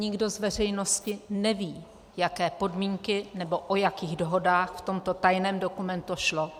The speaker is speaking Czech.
Nikdo z veřejnosti neví, jaké podmínky nebo o jakých dohodách v tomto tajném dokumentu šlo.